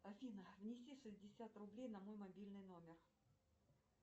афина внеси шестьдесят рублей на мой мобильный номер